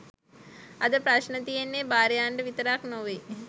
අද ප්‍රශ්න තියෙන්නේ භාර්යාවන්ට විතරක් නෙවෙයි